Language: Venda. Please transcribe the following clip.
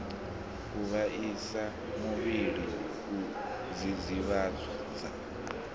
u vhaisa muvhili u dzidzivhadza